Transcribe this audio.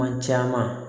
Kuma caman